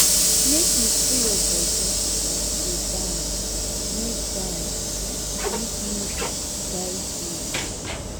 make you free your bodi as you dey dance make dance make music guide you.